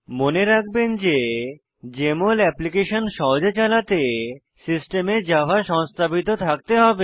মনে রাখবেন যে জেএমএল অ্যাপ্লিকেশন সহজে চালাতে সিস্টেমে জাভা সংস্থাপিত থাকতে হবে